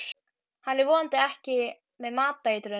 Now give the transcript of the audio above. Hann er vonandi ekki með matareitrun.